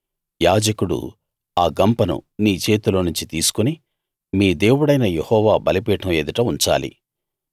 యాజకుడు ఆ గంపను నీ చేతిలో నుంచి తీసుకుని మీ దేవుడైన యెహోవా బలిపీఠం ఎదుట ఉంచాలి